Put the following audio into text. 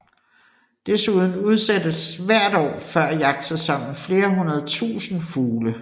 Desuden udsættes hvert år før jagtsæsonen flere hundrede tusinde fugle